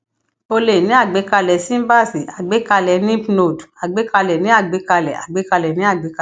o lè ní àgbékalè síbáàsì àgbékalè lymph node àgbékalè ní àgbékalè àgbékalè ní àgbékalè